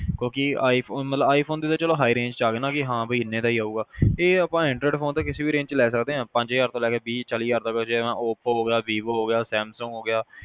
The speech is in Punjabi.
ਕਿਊ ਕਿ i phone ਤਾਂ ਮਤਲਬ high range ਆਗਿਆ ਨਾ ਬੀ ਮਤਲਬ ਇਹਨੇ ਦਾ ਹੀ ਆਊਗਾ ਇਹ ਆਪਾ anroid phone ਤਾਂ ਕਿਸੇ ਵੀ range ਵਿਚ ਲੈ ਸਕਦੇ ਪੰਜ ਹਜਾਰ ਤੋਂ ਲੈ ਕੇ ਵੀਹ ਚਾਲੀ ਹਜਾਰ ਜਿਵੇਂ oppo ਹੋਗਿਆ vivo ਹੋਗਿਆ samsung ਹੋਗਿਆ